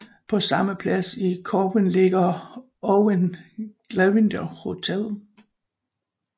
På samme plads i Corwen ligger Owain Glyndwr Hotel